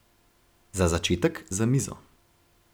Za začetek za mizo.